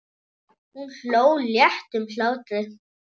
Hún hló léttum hlátri.